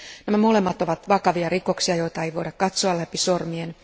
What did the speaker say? Nämä molemmat ovat vakavia rikoksia, joita ei voida katsoa läpi sormien.